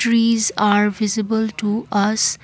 trees are visible to us.